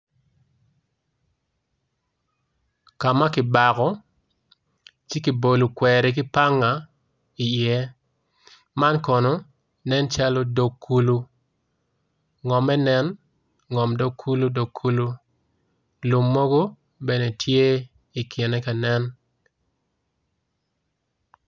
Kama kibako ci ki bolo kweri ki panga i ye man kono nen calo dog kulu ngomme nen ngom dog kulu dog kulu lum mogo bene tye i kine kanen.